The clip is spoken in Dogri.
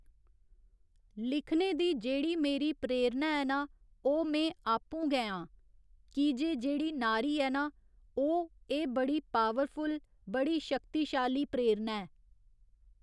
लिखने दी जेह्ड़ी मेरी प्रेरणा ऐ ना ओह् में आपूं गै आं क्योंकि जेह्ड़ी नारी ऐ ना ओह् एह् बड़ी पावरफुल बड़ी शक्तिशाली प्रेरणा ऐ